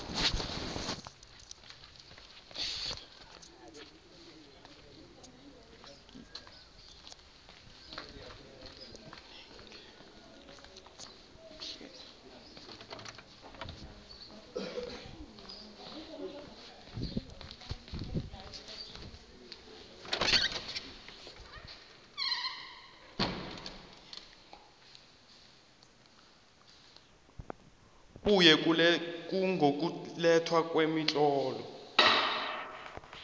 kuye ngokulethwa kwemitlolo